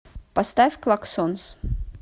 поставь клаксонс